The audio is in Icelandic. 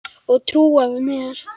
Og trúað mér!